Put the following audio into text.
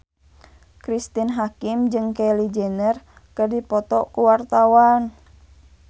Cristine Hakim jeung Kylie Jenner keur dipoto ku wartawan